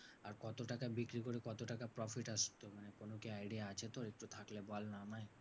আর কত টাকা বিক্রি করে কত টাকা profit আসতো মানে কোনো কি idea আছে তোর? একটু থাকলে বল না আমায়।